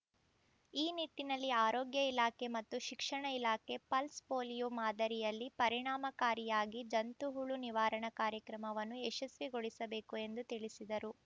ಈ ನಿಟ್ಟಿನಲ್ಲಿ ಆರೋಗ್ಯ ಇಲಾಖೆ ಮತ್ತು ಶಿಕ್ಷಣ ಇಲಾಖೆ ಪಲ್ಸ್ ಪೋಲಿಯೋ ಮಾದರಿಯಲ್ಲಿ ಪರಿಣಾಮಕಾರಿಯಾಗಿ ಜಂತುಹುಳು ನಿವಾರಣಾ ಕಾರ್ಯಕ್ರಮವನ್ನು ಯಶಸ್ವಿಗೊಳಿಸಬೇಕು ಎಂದು ತಿಳಿಸಿದರು